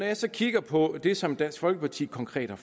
jeg så kigger på det som dansk folkeparti konkret har